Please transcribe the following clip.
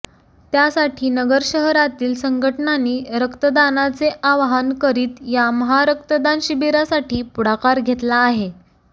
त्यासाठी नगर शहरातील संघटनानी रक्तदानाचे आवाहन करीत या महारक्तदान शिबिरासाठी पुढाकार घेतला आहे